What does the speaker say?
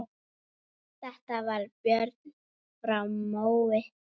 Þetta var Björn frá Mói.